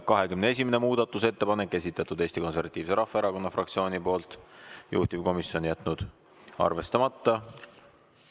21. muudatusettepanek, esitatud Eesti Konservatiivse Rahvaerakonna fraktsiooni poolt, juhtivkomisjon jätnud arvestamata.